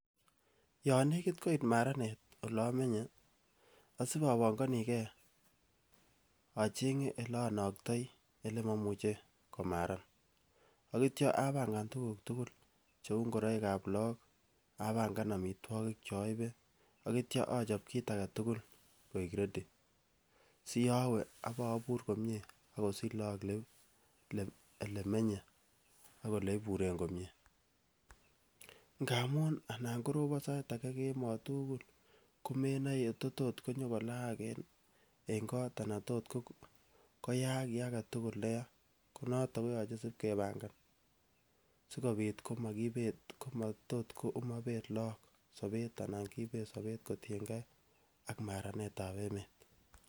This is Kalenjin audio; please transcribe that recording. Yon nekit koit maranet ole amenye, asip abanganike achenge ele anoktoi ele momuche komaran, ak ityo abangan tuguk tugul cheu ngoroikab lagok, abangan amitwogik cho aibe ak ityo achop kiit ake tugul koek ready. Si yowe ak abur komie ak kosich lagok ele menye ak ole iburen komie. Ngamun anan korobon sait ake kemoi tugul komenoi ye tot ot nyokolaak en got anan tot koyaak kiy age tugul ne ya. Konoto koyache ip kepangan si kobit simakibet komobet lagok sobet anan kibet sobet kotiengei ak maranetab emet.